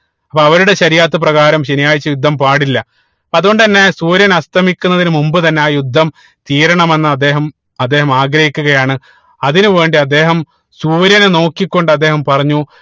അപ്പൊ അവരുടെ പ്രകാരം ശനിയാഴ്ച യുദ്ധം പാടില്ല അപ്പൊ അതുകൊണ്ട് തന്നെ സൂര്യൻ അസ്തമിക്കുന്നതിന് മുമ്പ് തന്നെ ആ യുദ്ധം തീരണമെന്ന് അദ്ദേഹം അദ്ദേഹം ആഗ്രഹിക്കുകയാണ് അതിനു വേണ്ടി അദ്ദേഹം സൂര്യനെ നോക്കി കൊണ്ട് അദ്ദേഹം പറഞ്ഞു